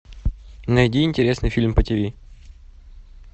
найди интересный фильм по тв